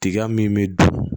Tiga min bɛ dun